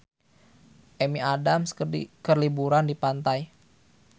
Amy Adams keur liburan di pantai